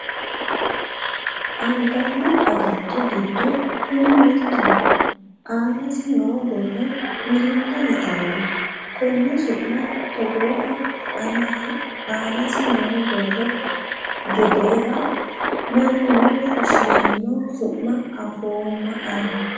Anganni agatto giddo kuni mittoho. anaasi noo borro mirnda yitanno. Konne su'ma togooha aanasi noo borro gedeeha mannuno fushirino su'ma afoomma Ani.